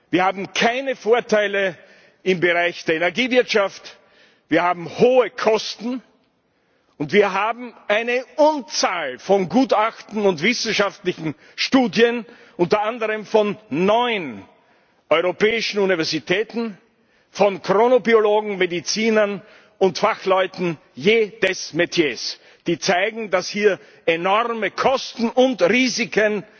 Wir haben keine Vorteile im Bereich der Energiewirtschaft, wir haben hohe Kosten, und wir haben eine Unzahl von Gutachten und wissenschaftlichen Studien, unter anderem von neun europäischen Universitäten, von Chronobiologen, Medizinern und Fachleuten jedes Metiers, die zeigen, dass hier enorme Kosten und Risiken